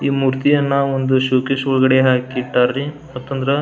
ಈ ಮೂರ್ತಿಯನ್ನ ಒಂದ್ ಶೋಕೇಶ್ ಒಳಗಡೆ ಹಾಕಿ ಇಟ್ಟಾರ್ ರೀ ಯಾಕಂದ್ರ --